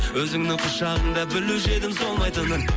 өзіңнің құшағыңда білуші едім солмайтынын